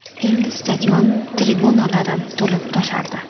Endi stadion tribunalari to‘lib-toshardi.